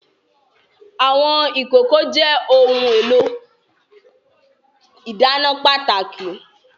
Àwọn ìkòkò jẹ́ ohun èlò ìdáná pàtàkì